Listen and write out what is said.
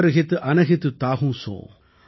बयरू अकारण सब काहू सों | जो कर हित अनहित ताहू सों ||